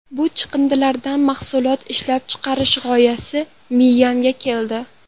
Bu chiqindilardan mahsulot ishlab chiqarish g‘oyasi miyamga keldi.